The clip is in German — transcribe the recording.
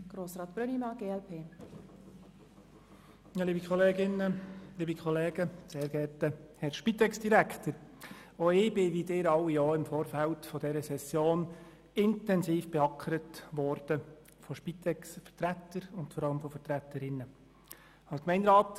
Auch ich bin, wie Sie alle auch, im Vorfeld dieser Session intensiv von Spitexvertretern und vor allem -vertreterinnen bearbeitet worden.